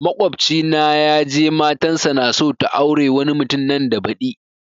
Makwabci na ya je matan sa naso ta aure wani mutum nan da badi